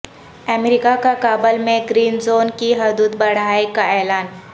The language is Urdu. امریکا کا کابل میں گرین زون کی حدود بڑھائے کا اعلان